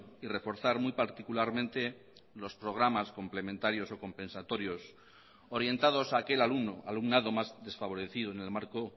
y reforzar muy particularmente los programas complementarios o compensatorios orientados a aquel alumno alumnado más desfavorecido en el marco